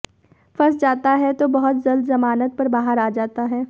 फंस जाता है तो बहुत जल्द जमानत पर बाहर आ जाता है